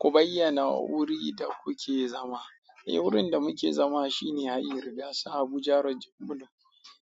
Ku bayyana wurin da kuke zama. Eh, wurin da muke zama shine a Hayin rigasa, Abuja road, jan Bulo.